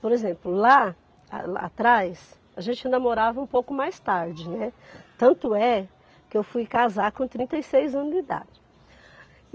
Por exemplo, lá a lá atrás, a gente namorava um pouco mais tarde, né, tanto é que eu fui casar com trinta e seis anos de idade.